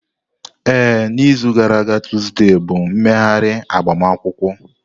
Ee, n'izu gara aga tuzdee bụ mmeghari agbamakwụkwọ.